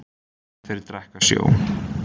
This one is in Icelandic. Þeir drekka sjó.